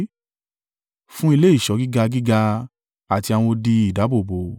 fún ilé ìṣọ́ gíga gíga àti àwọn odi ìdáàbòbò,